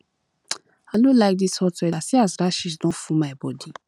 i no like dis hot weather see as rashes don full my body